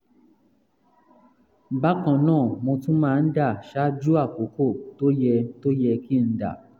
bákan náà mo tún máa ń dà ṣaájú àkókò tó yẹ tó yẹ kí n dà